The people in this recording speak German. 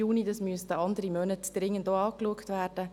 Es müssten dringend noch andere Monate angeschaut werden.